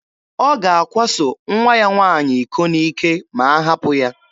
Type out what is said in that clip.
Ọ ga-akwaso nwa ya nwaanyị iko n'ike ma a hapụ ya.